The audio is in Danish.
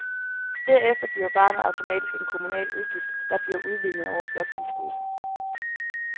Derefter bliver barnet automatisk en kommunal udgift, der bliver udlignet over bloktilskuddet.